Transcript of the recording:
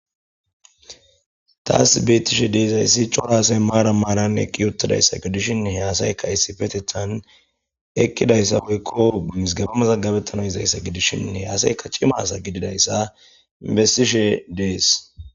taas beettishe deezayssi coraasey maara maarann eqqi uttadayssa gidishin heasayka issifetethan ekkidayssa woykko guyisgabamazagabettano izayssa gidishshin he asayka cimasa gididayssa inbestishe dees